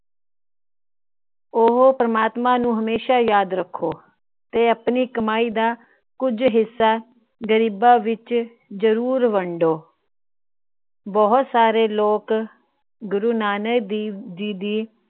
ਉਹ ਪ੍ਰਮਾਤਮਾ ਨੂੰ ਹਮੇਸ਼ਾ ਯਾਦ ਰੱਖੋ। ਤੇ ਆਪਣੀ ਕਮਾਈ ਦਾ ਕੁਝ ਹਿੱਸਾ ਗਰੀਬਾਂ ਵਿੱਚ ਜਰੂਰ ਵੰਡੋ। ਬਹੁਤ ਸਾਰੇ ਲੋਕ ਗੁਰੂ ਨਾਨਕ ਦੇਵ ਜੀ ਦੀ